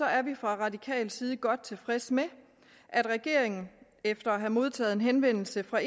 er vi fra radikal side godt tilfredse med at regeringen efter at have modtaget en henvendelse fra